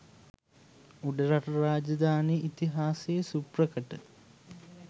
උඩරට රාජධානි ඉතිහාසයේ සුප්‍රකට